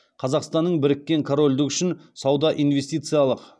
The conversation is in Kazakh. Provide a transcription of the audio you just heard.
қазақстанның біріккен корольдік үшін сауда инвестициялық